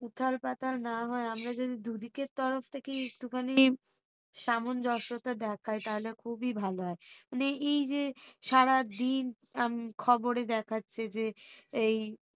উথাল পাতাল না হয়ে আমরা যদি দুদিকের তরফ থেকেই একটুখানি সামঞ্জস্যতা দেখায় তাহলে খুবই ভালো হয়। মানে এই যে সারাদিন হম খবরে দেখাচ্ছে যে এই